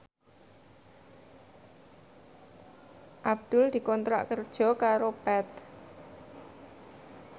Abdul dikontrak kerja karo Path